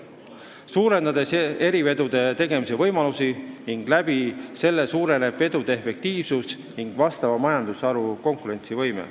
See suurendab erivedude tegemise võimalusi ning nii kasvab vedude efektiivsus ja vastava majandusharu konkurentsivõime.